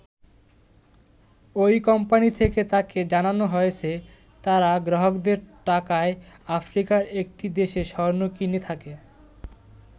ওই কোম্পানী থেকে তাকে জানানো হয়েছে, তারা গ্রাহকদের টাকায় আফ্রিকার একটি দেশে স্বর্ণ কিনে থাকে।